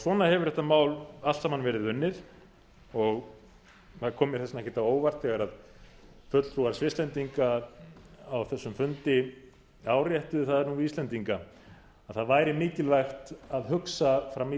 svona hefur þetta mál allt saman verið unnið og það kom mér þess vegna ekkert á óvart þegar fulltrúar svisslendinga á þessum fundi áréttuðu það við íslendinga að það væri mikilvægt að hugsa fram í